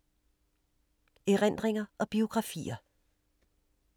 Erindringer og biografier